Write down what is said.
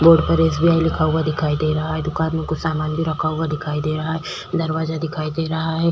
Board पर SBI लगा हुआ दिखाई दे रहा है। दुकान में कुछ सामान भी रखा हुआ दिखाई दे रहा है। दरवाजा दिखाई दे रहा है।